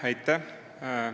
Aitäh!